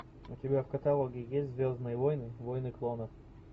у тебя в каталоге есть звездные войны войны клонов